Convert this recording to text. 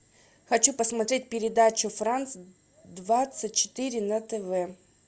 хочу посмотреть передачу франс двадцать четыре на тв